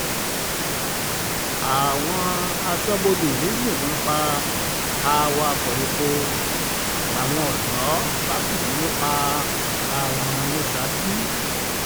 àwọn asọ̀bọ̀dé yìnbọn pa awakọ̀ epo um làwọn odò bá fìbínú pa um ọ̀gá wọn ní saki